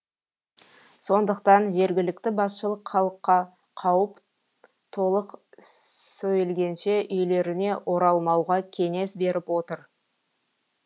сондықтан жергілікті басшылық халыққа қауіп толық сөйілгенше үйлеріне оралмауға кеңес беріп отыр